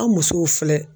An musow filɛ